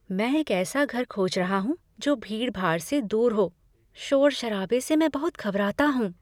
"मैं एक ऐसा घर खोज रहा हूँ जो भीड़ भाड़ से दूर हो, शोर शराबे से मैं बहुत घबराता हूँ।"